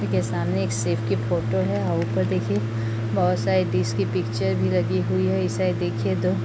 के सामने एक शेफ की फोटो है आ ऊपर देखिये बहोत सारे डिश की पिक्चर भी लगी हुई है इस साइड देखिये तो --